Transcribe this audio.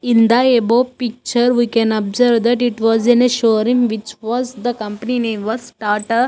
In the above picture we can observe that it was in a showroom which was the company name was starter --